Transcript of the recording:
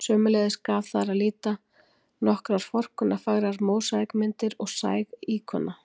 Sömuleiðis gaf þar að líta nokkrar forkunnarfagrar mósaíkmyndir og sæg íkona.